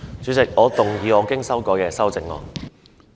主席，我動議我經修改的修正案。